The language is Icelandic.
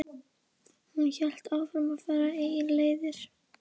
Hún hélt áfram að fara eigin leiðir.